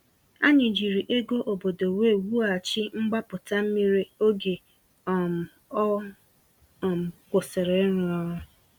Anyị jiri ego obodo wee wughachi mgbapụta mmiri oge um ọ um kwụsịrị ịrụ ọrụ.